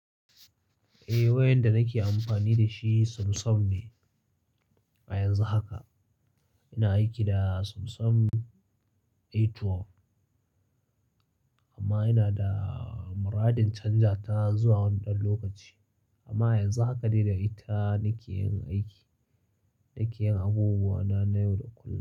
Eh wayan da nake amfani da shi Samsung ne a yanzu haka. Ina aiki da Samsung A12 amma ina da muradin canja ta zuwa wani ɗan lokaci. Amma yanzu haka dai da ita nake yin aiki, nake yin abubuwa na yau da kullum.